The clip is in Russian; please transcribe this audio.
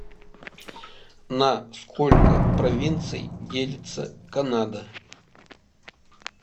на сколько провинций делится канада